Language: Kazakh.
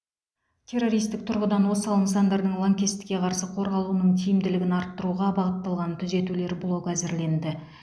террористік тұрғыдан осал нысандардың лаңкестікке қарсы қорғалуының тиімділігін арттыруға бағытталған түзетулер блогы әзірленді